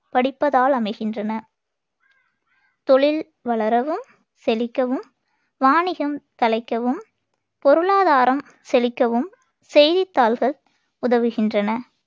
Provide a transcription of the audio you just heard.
படிப்பதால் அமைகின்றன தொழில் வளரவும், செழிக்கவும், வாணிகம் தழைக்கவும், பொருளாதாரம் செழிக்கவும் செய்தித்தாள்கள் உதவுகின்றன.